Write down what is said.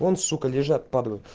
он сука лежат падлы